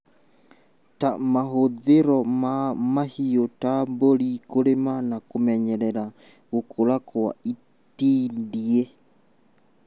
ta mahũthĩro ma mahiũ ta mbũri kũrĩma na kũmenyerera gũkũra Kwa itindiĩ